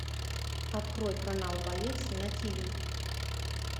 открой канал боец на тиви